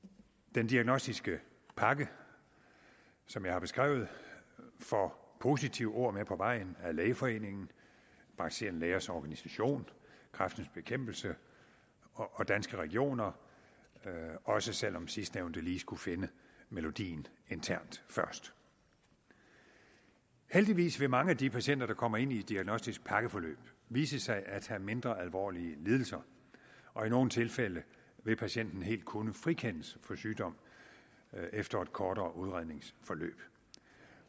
den diagnostiske pakke som jeg har beskrevet får positive ord med på vejen af lægeforeningen praktiserende lægers organisation kræftens bekæmpelse og danske regioner også selv om sidstnævnte lige skulle finde melodien internt først heldigvis vil mange af de patienter der kommer ind i et diagnostisk pakkeforløb vise sig at have mindre alvorlige lidelser og i nogle tilfælde vil patienten helt kunne frikendes for sygdom efter et kortere udredningsforløb